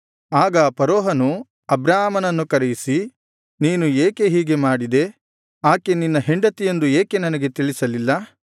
ಆಗ ಫರೋಹನು ಅಬ್ರಾಮನನ್ನು ಕರೆಯಿಸಿ ನೀನು ಏಕೆ ಹೀಗೆ ಮಾಡಿದೆ ಆಕೆ ನಿನ್ನ ಹೆಂಡತಿಯೆಂದು ಏಕೆ ನನಗೆ ತಿಳಿಸಲಿಲ್ಲ